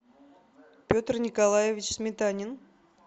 петр николаевич сметанин